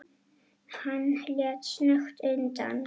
Hann leit snöggt undan.